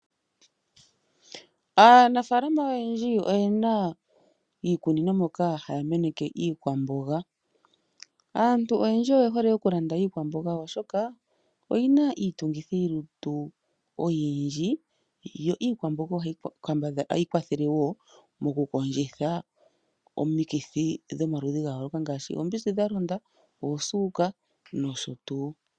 Aanafaalama oyendji oyena iikunino moka haya meneke iikwamboga. Aantu oyendji oyehole okulanda iikwamboga oshoka, oyina iitungithilutu oyindji. Iikwamboga ohayi kwathele wo oku kondjitha omikithi dhomaludhi ga yooloka ngaashi, oombizi dha londa, oosuuka nosho tuu.